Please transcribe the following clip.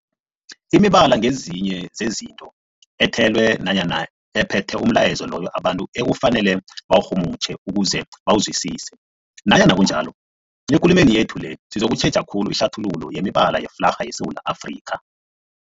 Imibala ngezinye zezinto ethelwe nanyana ephethe umlayezo loyo abantu ekufanele bawurhumutjhe ukuze bawuzwisise. Nanyana kunjalo, ekulumeni yethu le sizokutjheja khulu ihlathululo yemibala yeflarha yeSewula Afrika.